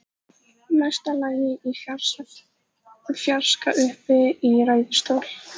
Mesta lagi í fjarska uppi í ræðustól.